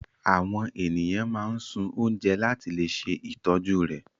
Àwọn ènìyàn máa sun oúnjẹ láti le ṣe ìtọ́jú rẹ̀.